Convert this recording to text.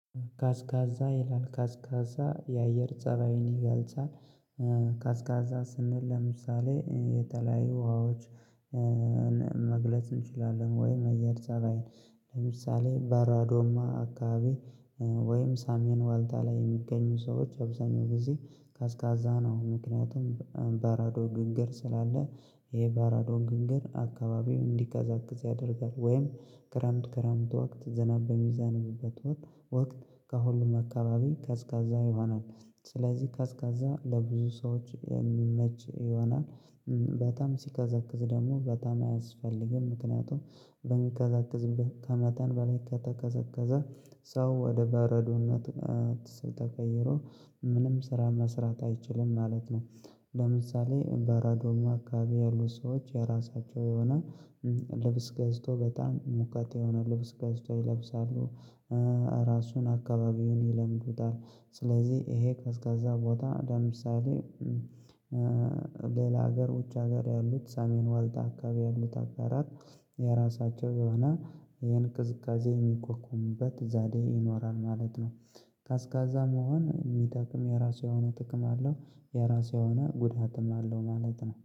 ቀስቃዛ ይላል ቀስቃዛ የአየር ፀባይን ይገልጻል። ቀስቃዛ ስንል ለምሳሌ የተለያዩ ውሃዎችን መግለጽ እንችላለን ወይ አየር ፀባይ ለምሳሌ በራዶማ አካባቢ። ወይም ሳሚን ዋልታ ላይ የሚገኙ ሰዎች አብዛኛው በዚህ ቀስቃዛ ነው ምክንያቱም በራዶ ግንገር ስላለ ይሄ በራዶ ግንገር አካባቢው እንዲቀዘቅዝ ያደርጋል። ወይም ክረምት ክረምት ወክት ዘናብ በሚዛንብበት ወክት ወክት ከሁሉም አካባቢ ቀዝቃዛ ይሆናል። ስለዚህ ቀዝቃዛ ለብዙ ሰዎች የሚመች ይሆናል። በጣም ሲቀዘቅዝ ደግሞ በጣም አያስፈልግም ምክንያቱም በሚቀዘቀዝበት ከመታን በላይ ከተቀዘቀዘ ሰው ወደ በረዶነት ስልተቀየረ ምንም ስራ መስራት አይችልም ማለት ነው። ለምሳሌ በራዶማ አካባቢ ያሉት ሰዎች የራሳቸው የሆነ ልብስ ገዝቶ በጣም የሞቃት የሆነ ልብስ ገዝቶ ይለብሳሉ። ራሱን አካባቢውን ይለምዱታል ስለዚህ ይሄ ቀስቃዛ ቦታ ደምሳሌ። ሌላ ሀገር ውጭ ሀገር ያሉት ሳሜን ዋልታ አካባቢ ያሉት ሀገራት። የራሳቸው የሆነ ይሄን ቅዝቃዜ የሚቋቋሙበት ዛዴ ይኖራል ማለት ነው። ቀስቃዛ መሆን የሚጠቅም የራሱ የሆነ ጥቅም አለው። የራሴ የሆነ ጉዳትም አለው ማለት ነው